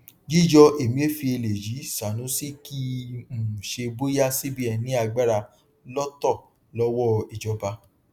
yíyọ emefiele yí sanusi kìí um ṣe bóyá cbn ní agbára lọtọ lọwọ ijọba